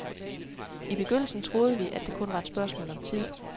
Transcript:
I begyndelsen troede vi, at det kun var et spørgsmål om tid.